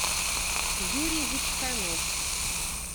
юрий вичканов